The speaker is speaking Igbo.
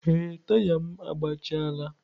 Ee, taya m agbachaala.